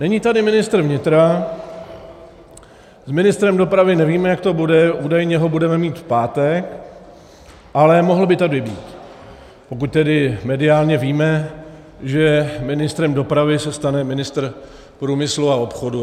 Není tady ministr vnitra, s ministrem dopravy nevíme, jak to bude, údajně ho budeme mít v pátek, ale mohl by tady být, pokud tedy mediálně víme, že ministrem dopravy se stane ministr průmyslu a obchodu.